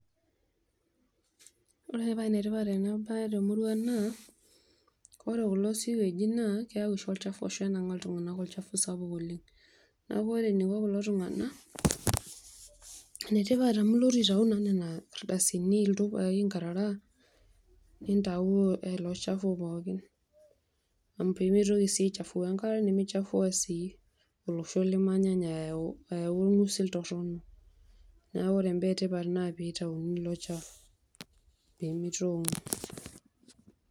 Ore paa enetipat ena baye temurrua naa, ore kulo siwegi naa keewu oshi olchafu onangaki iltunganak sapuk oleng'. Neeku ore eniko kulo tunganak, enetipat amu ilotu oshi aituyu nena aldasini, inkarara nindayuyu ilo chafu pookin pee mitoki sii aichafua enkare nimitoki sii olosho limanyanya ayau olngosil torono. Neeku ore ibaa etipat naa tenitayuni ilo chafu pee mitongu.